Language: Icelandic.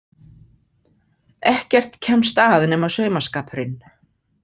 Ekkert kemst að nema saumaskapurinn.